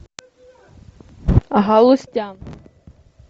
галустян